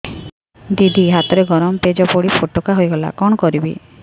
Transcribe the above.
ଦିଦି ହାତରେ ଗରମ ପେଜ ପଡି ଫୋଟକା ହୋଇଗଲା କଣ କରିବି